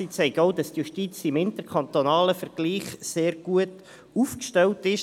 Sie zeigen auch, dass die Justiz im interkantonalen Vergleich sehr gut aufgestellt ist.